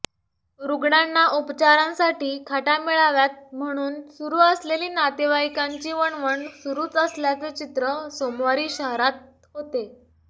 रुग्णांना उपचारांसाठी खाटा मिळाव्यात म्हणून सुरू असलेली नातेवाइकांची वणवण सुरूच असल्याचे चित्र सोमवारी शहरात होते